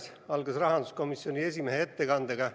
See algas rahanduskomisjoni esimehe ettekandega.